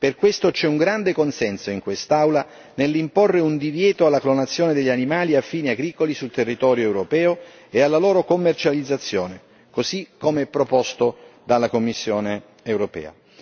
Per questo c'è un grande consenso in quest'Aula nell'imporre un divieto alla clonazione degli animali a fini agricoli sul territorio europeo e alla loro commercializzazione, così come proposto dalla Commissione europea.